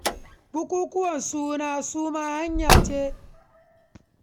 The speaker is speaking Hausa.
Barira dillaliya ce da take bin gidaje, tana sayar da kaya.